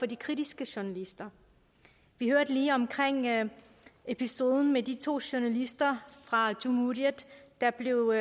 de kritiske journalister vi hørte lige om episoden med de to journalister fra cumhuriyet der blev